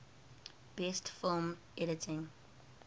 best film editing